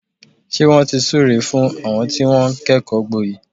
Ṣé wọ́n ti súre fún àwọn tí wọ́n kẹ́kọ̀ọ́ gboyè?